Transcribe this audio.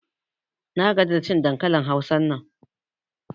Na gaji da cin dankalin Hausan nan.